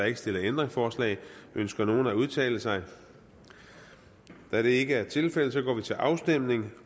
ikke stillet ændringsforslag ønsker nogen at udtale sig da det ikke er tilfældet går vi til afstemning